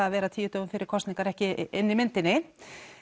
að vera tíu dögum fyrir kosningar ekki inni í myndinni